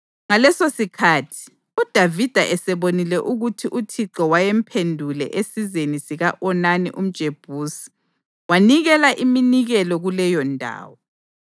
Ngalesosikhathi, uDavida esebonile ukuthi uThixo wayemphendule esizeni sika-Onani umJebusi, wanikela iminikelo kuleyondawo.